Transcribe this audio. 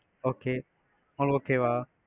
okay உங்களுக்கு okay வா?